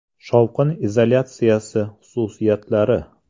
- Shovqin izolyatsiyasi xususiyatlari.